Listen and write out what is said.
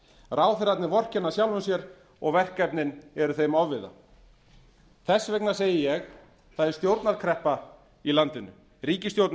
ráðherrarnir vorkenna sjálfum sér og verkefnin eru þeim ofviða þess vegna segi ég það er stjórnarkreppa í landinu ríkisstjórnin